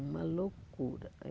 Uma loucura.